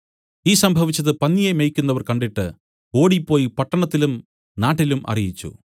ഈ സംഭവിച്ചത് പന്നിയെ മേയ്ക്കുന്നവർ കണ്ടിട്ട് ഓടിപ്പോയി പട്ടണത്തിലും നാട്ടിലും അറിയിച്ചു